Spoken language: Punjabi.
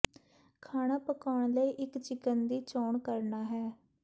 ਖਾਣਾ ਪਕਾਉਣ ਲਈ ਇੱਕ ਚਿਕਨ ਦੀ ਚੋਣ ਕਰਨਾ ਹੈ